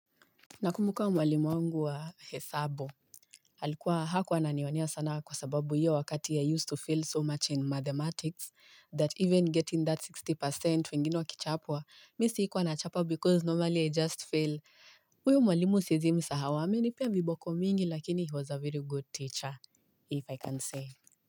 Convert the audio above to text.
Nakumbuka mwalimu wangu wa hesabu. Alikuwa hakuwa ananionea sana kwa sababu hiyo wakati i used to fail so much in mathematics that even getting that sixty percent wengine wakichapwa mi sikuwa na chapwa because normally i just fail huyo mwalimu siezi msahau amenipea viboko mingi lakini he was a very good teacher if i can say.